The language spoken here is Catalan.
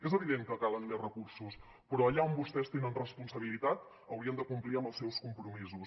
és evident que calen més recursos però allà on vostès tenen responsabilitat haurien de complir amb els seus compromisos